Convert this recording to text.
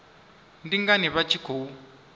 ndi ngani vha tshi khou